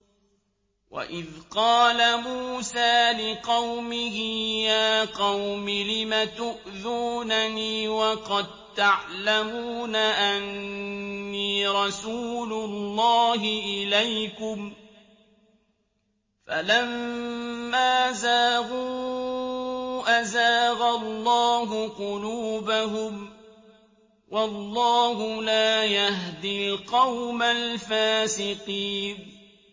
وَإِذْ قَالَ مُوسَىٰ لِقَوْمِهِ يَا قَوْمِ لِمَ تُؤْذُونَنِي وَقَد تَّعْلَمُونَ أَنِّي رَسُولُ اللَّهِ إِلَيْكُمْ ۖ فَلَمَّا زَاغُوا أَزَاغَ اللَّهُ قُلُوبَهُمْ ۚ وَاللَّهُ لَا يَهْدِي الْقَوْمَ الْفَاسِقِينَ